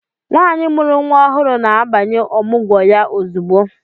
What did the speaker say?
Nwaanyi mụrụ nwa ọhụrụ na-abanye Ọmụgwọ ya ozugbo.